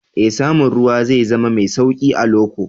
Ee, samun ruwa zai zama mai sauƙi a loko